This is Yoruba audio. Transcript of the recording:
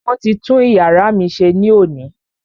Wọ́n ti tún iyàrá mí ṣe ní òní.